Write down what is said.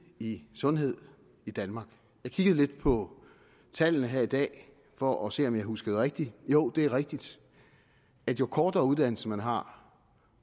i sundhed i danmark jeg kiggede lidt på tallene her i dag for at se om jeg huskede rigtigt jo det er rigtigt at jo kortere uddannelse man har